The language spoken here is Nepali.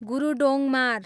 गुरूडोङमार